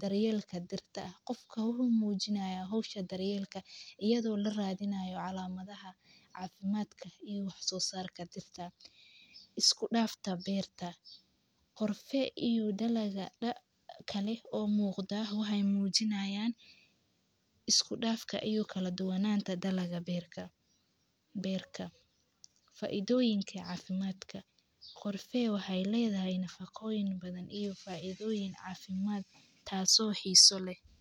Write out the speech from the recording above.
Daryeelka dirta. Qofka wuxuu muujinayaa hawsha daryeelka iyadoo la raadinayo calaamadaha caafimaadka iyo xusoo saarka dirta. Isku dhafa beerta. Qorfee iyuu dhalaga dha kale oo muuqda huhey muujinayaan. Isku dhafka iyuu kala duwanaanta dalaga beerta beertah. Faaiidooyinka caafimaadka. Qorfee waxay leedahay nafaqooyin badan iyo faaidooyin caafimaad taasoo xiiso leh.